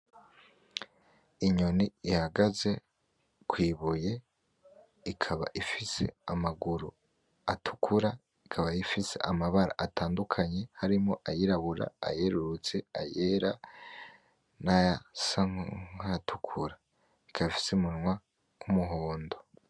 Inyoni ihagaze kw'ibuye, ikaba ifise amaguru atukura, ikaba ifise amabara atandukanye harimwo ayirabura, ayerurutse, ayera nayasa nkayatukura, ikaba ifise umunwa w'umuhondo.